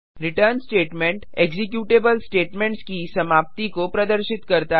return statement executable statements की समाप्ति को प्रदर्शित करता है